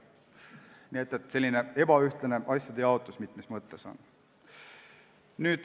Nii et on selline ebaühtlane asjade jaotus mitmes mõttes.